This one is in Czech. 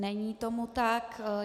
Není tomu tak.